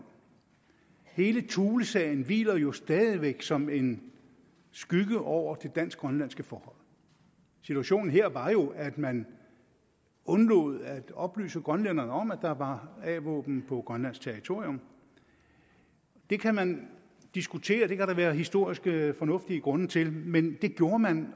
hele thulesagen hviler jo stadig væk som en skygge over det dansk grønlandske forhold situationen her var jo at man undlod at oplyse grønlænderne om at der var a våben på grønlandsk territorium det kan man diskutere det kan der være historiske fornuftige grunde til men det gjorde man